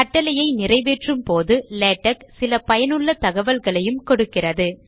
கட்டளையை நிறைவேற்றும் போது லேடக் சில பயனுள்ள தகவல்களையும் கொடுக்கிறது